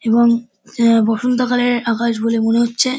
এবং এহ বসন্তকালের আকাশ বলে মনে হচ্ছে।